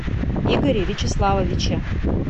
игоре вячеславовиче